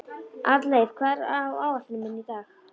Arnleif, hvað er á áætluninni minni í dag?